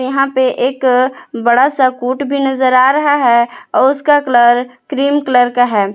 यहां पे एक बड़ा सा कोट भी नजर आ रहा है आ उसका कलर क्रीम कलर का है।